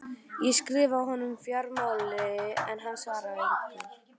Ég skrifaði honum um fjármálin en hann svaraði engu.